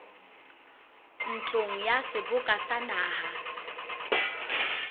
ntlong ya seboka sa naha